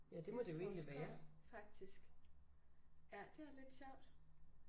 Marselisborg skov faktisk. Ja det er lidt sjovt